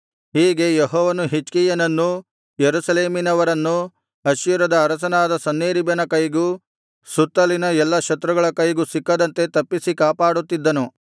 ಹೀಗೆ ಯೆಹೋವನು ಹಿಜ್ಕೀಯನನ್ನೂ ಯೆರೂಸಲೇಮಿನವರನ್ನೂ ಅಶ್ಶೂರ್ಯದ ಅರಸನಾದ ಸನ್ಹೇರೀಬನ ಕೈಗೂ ಸುತ್ತಲಿನ ಎಲ್ಲಾ ಶತ್ರುಗಳ ಕೈಗೂ ಸಿಕ್ಕದಂತೆ ತಪ್ಪಿಸಿ ಕಾಪಾಡುತ್ತಿದ್ದನು